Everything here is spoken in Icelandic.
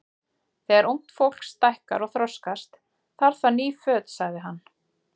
Þegar ungt fólk stækkar og þroskast, þarf það ný föt sagði hann.